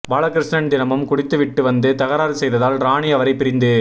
பாலகிருஷ்ணன் தினமும் குடித்து விட்டு வந்து தகராறு செய்ததால் ராணி அவரை பிரிந்து